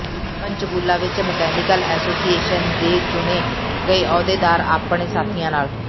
ਪੰਚਕੂਲਾ ਵਿੱਚ mechanical association ਦੇ ਚੁਣੇ ਗਏ ਅਹੁਦੇਦਾਰ ਆਪਣੇ ਸਾਥੀਆਂ ਨਾਲ